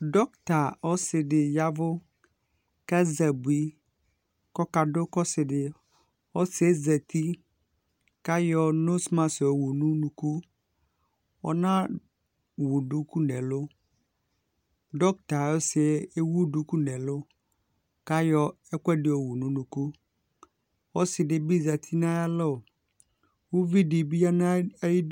dɔkta ɔsi di ya vu k'azɛ abui k'ɔka du k'ɔsi di yɛ ɔsiɛ zati k'ayɔ noz mask yɔ wu n'unuku ɔna wu duku n'ɛlu dɔkta ɔsi yɛ ewu duku n'ɛlu k'ayɔ ɛkò ɛdi yo wu n'unuku ɔsi di bi zati n'ayi alɔ uvi di bi ya n'ayi du.